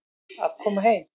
Að koma heim